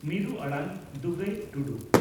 ᱢᱤᱨᱩ ᱟᱲᱟᱝ (ᱫᱩᱜᱟᱹᱭ ᱴᱩᱰᱩ)